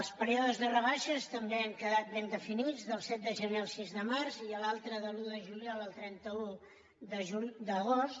els períodes de rebaixes també han quedat ben definits del set de gener al sis de març i l’altre de l’un de juliol al trenta un d’agost